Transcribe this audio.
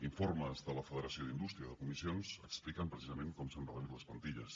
informes de la federació d’indústria de comissions expliquen precisament com s’han reduït les plantilles